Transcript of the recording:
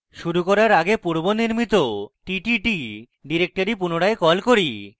শুরু করার পূর্বে পূর্বে নির্মিত ttt ডাইরেক্টরি পুনরায় কল করি